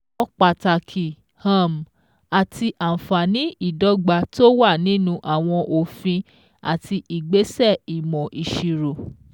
Mọ pàtàkì um àti àǹfààní ìdọ́gba tó wà nínú àwọn òfin àti ìgbésẹ̀ ìmọ̀ ìṣirò.